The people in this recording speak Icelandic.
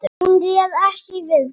Hún réð ekki við þá.